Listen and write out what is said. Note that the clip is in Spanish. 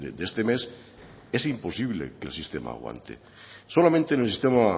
de este mes es imposible que el sistema aguante solamente en el sistema